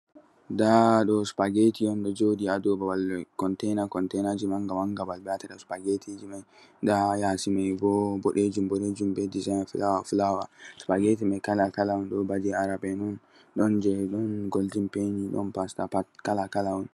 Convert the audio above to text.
Ɗaa ɗo supageeti on, ɗo joɗi ha ɗow contena, contenaji manga-manga. Babal be watata supageti mai. Nɗa yasi maibo boɗejum-boɗejum, be disa'in fulawa-fulawa. Supageti mai kala-kala on. Ɗo ba je Arab en on. Ɗon je, ɗo golɗin peni, ɗon pasta on.